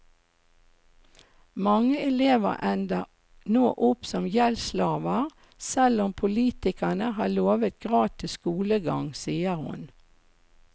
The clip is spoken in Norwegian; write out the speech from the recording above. Mange elever ender nå opp som gjeldsslaver, selv om politikerne har lovet gratis skolegang, sier hun.